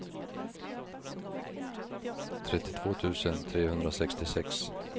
trettiotvå tusen trehundrasextiosex